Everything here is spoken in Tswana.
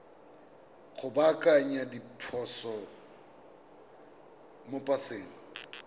go baakanya diphoso mo paseng